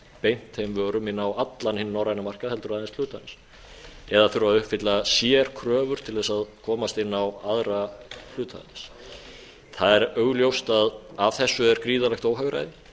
beint þeim vörum inn á allan hinn norræna markað heldur aðeins hluta hans eða þurfa að uppfylla sérkröfur til þess að komast inn á aðra hluta hans það er augljóst að af þessu er gríðarlegt óhagræði